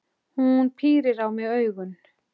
Hún pírir á mig augun.